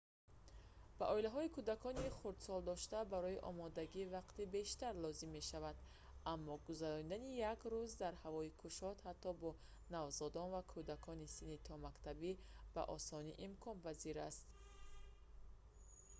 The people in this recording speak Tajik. ба оилаҳои кӯдакони хурдсолдошта барои омодагӣ вақти бештар лозим мешавад аммо гузарондани як рӯз дар ҳавои кушод ҳатто бо навзодон ва кӯдакони синни томактабӣ ба осонӣ имконпазир аст